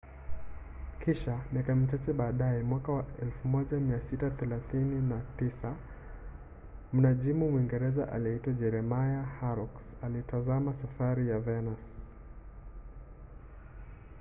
kisha miaka michache baadaye mwaka wa 1639 mnajimu mwingereza aliyeitwa jeremiah horrocks alitazama safari ya venus